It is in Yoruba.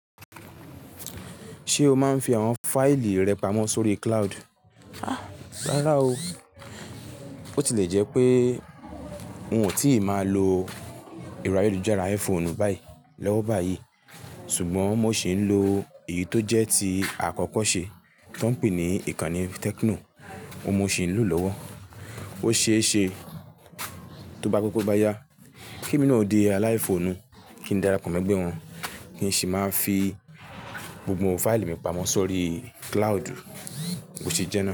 Ṣé o máa ń fi àwọn fáìlì rẹ pamọ́ sórí cloud? Ah rárá o. Bo ti lẹ́ jẹ́ pé n ò tíì máa lo ẹ́rọ̀ ayelujara iPhone báyìí lọ̀wọ́ báyìí sùgbọ́n mo sì ń lo èyí tó jẹ́ ti àkọ́kọ́ ṣe tó ń pè ní ìkànnì Tecno. Óun mo ṣì ń lò lọ́wọ́. Ó ṣe é ṣe tó bá pẹ́ to bá yá kí emi nọ́ òdì aláìphone kí n darapọ̀ mọ́ ẹgbẹ́ wọn kí n sì máa fi gbogbo fáìlì mi pamọ́ sórí cloud. Bo ṣe jẹ́ náà.